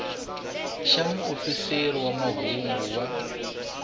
xa muofisiri wa mahungu wa